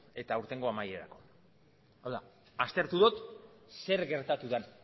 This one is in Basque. eta aurtengo amaierarako hau da aztertu dut zer gertatu den